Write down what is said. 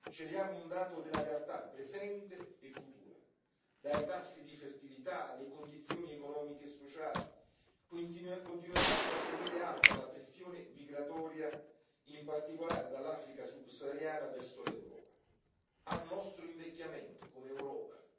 Celiamo un dato della realtà presente e futura dai tassi di fertilità alle condizioni economiche e sociali, che continueranno a tenere alta la pressione migratoria, in particolare dall'Africa subsahariana verso l'Europa, al nostro invecchiamento come Europa.